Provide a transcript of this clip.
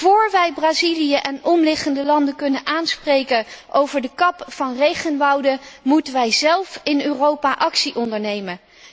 Vóór wij Brazilië en omliggende landen kunnen aanspreken op de kap van regenwouden, moeten wij zelf in Europa actie ondernemen.